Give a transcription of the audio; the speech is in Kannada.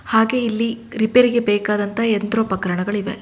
ಹಾಗೆ ಇಲ್ಲಿ ರಿಪೆರಿ ಗೆ ಬೇಕಾದಂತಹ ಯಂತ್ರೋಪಕರಣಗಳು ಇವೆ.